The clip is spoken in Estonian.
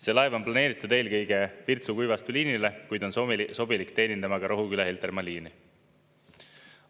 See laev on planeeritud eelkõige Virtsu–Kuivastu liinile, kuid on sobilik teenindama ka Rohuküla–Heltermaa liini.